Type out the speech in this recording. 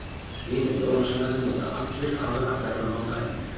Hinir jólasveinarnir nota allir aðra ferðamáta en ég.